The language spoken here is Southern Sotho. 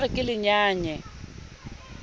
la re ke le nyaye